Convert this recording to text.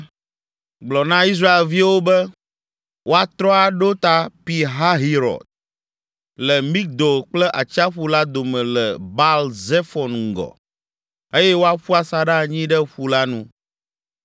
“Gblɔ na Israelviwo be woatrɔ aɖo ta Pi Hahirɔt, le Migdol kple atsiaƒu la dome le Baal Zefon ŋgɔ, eye woaƒu asaɖa anyi ɖe ƒu la nu,